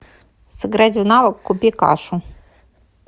сыграть в навык купи кашу